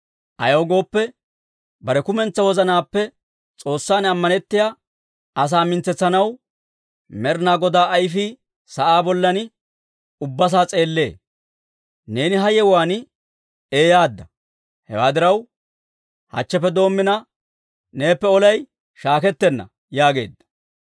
Ayaw gooppe, bare kumentsaa wozanaappe S'oossan ammanettiyaa asaa mintsetsanaw Med'inaa Godaa ayfii sa'aa bollan ubbasaa s'eellee. Neeni ha yewuwaan eeyyaadda; hewaa diraw, hachcheppe doommina, neeppe olay shaakettenna» yaageedda.